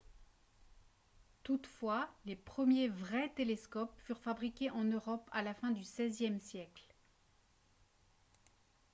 toutefois les premiers vrais télescopes furent fabriqués en europe à la fin du xvie siècle